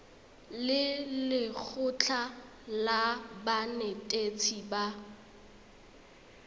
le lekgotlha la banetetshi ba